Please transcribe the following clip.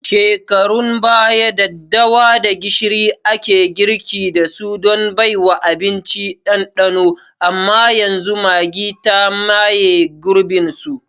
Shekarun baya, daddawada gishiri ake girki dasu don baiwa abinci ɗanɗanon amma yanzu Maggi ta maye gurbin su.